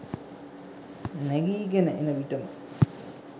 නැගීගෙන එන විට ම